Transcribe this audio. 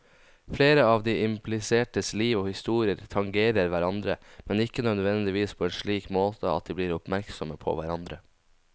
Flere av de implisertes liv og historier tangerer hverandre, men ikke nødvendigvis på en slik måte at de blir oppmerksomme på hverandre.